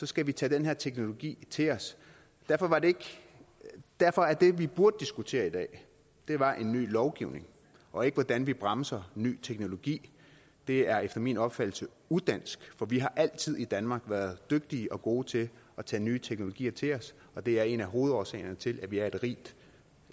skal vi tage den her teknologi til os derfor er det vi burde diskutere i dag en ny lovgivning og ikke hvordan vi bremser ny teknologi det er efter min opfattelse udansk for vi har altid i danmark været dygtige og gode til at tage nye teknologier til os og det er en af hovedårsagerne til at vi er et rigt